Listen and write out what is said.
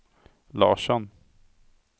Larsson